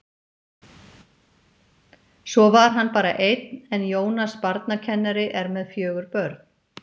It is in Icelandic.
Svo var hann bara einn en Jónas barnakennari er með fjögur börn.